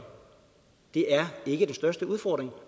det er ikke den største udfordring